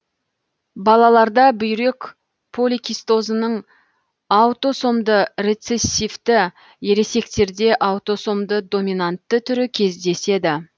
балаларда бүйрек поликистозының аутосомды рецессивті ересектерде аутосомды доминантты түрі кездеседі